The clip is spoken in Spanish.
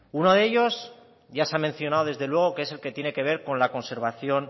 uno de ellos ya se ha mencionado desde luego que es el que tiene que ver con la conservación